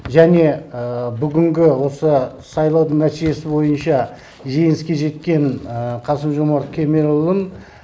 және бүгінгі осы сайлаудың нәтижесі бойынша жеңіске жеткен қасым жомарт кемелұлын